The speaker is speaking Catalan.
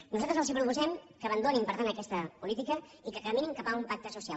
nosaltres els proposem que abandonin per tant aquesta política i que caminin cap a un pacte social